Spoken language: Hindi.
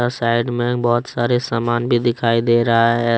और साइड में बहोत सारे सामान भी दिखाई दे रहा है।